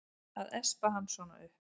Að espa hann svona upp!